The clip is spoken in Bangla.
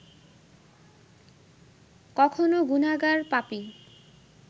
কখনো গুনাগার, পাপী